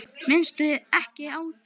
Minnstu ekki á það.